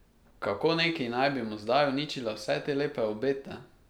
Kako neki naj bi mu zdaj uničila vse te lepe obete?